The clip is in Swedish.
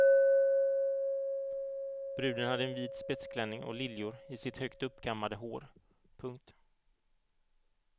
Bruden hade en vit spetsklänning och liljor i sitt högt uppkammade hår. punkt